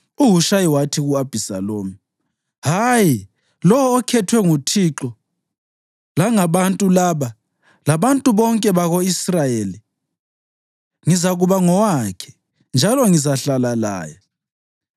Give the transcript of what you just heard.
UHushayi wathi ku-Abhisalomu, “Hayi, lowo okhethwe nguThixo, langabantu laba, labantu bonke bako-Israyeli ngizakuba ngowakhe, njalo ngizahlala laye.